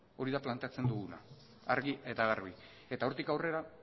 hori da plantatzen duguna argi eta garbi eta hortik aurrera